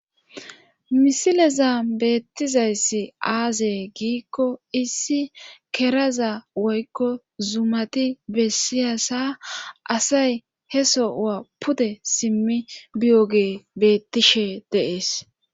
Misileza beettizayssi aaze giikko issi keraza woykko zumati bessiyasa asay he sowa pude simmi biyoge bettishe deees